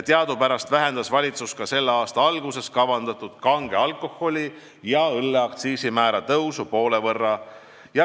Teadupärast vähendas valitsus ka selle aasta alguses kavandatud kange alkoholi ja õlle aktsiisimäära tõusu poole võrra.